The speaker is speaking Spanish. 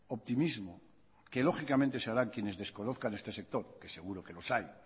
optimismo que lógicamente se harán quienes desconozcan este sector que seguro que los hay